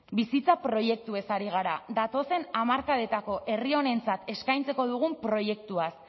bizitza proiektuez ari gara datozen hamarkadetako herri honentzat eskaintzeko dugun proiektuaz